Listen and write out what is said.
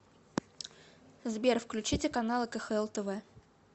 сбер включите каналы кхл тв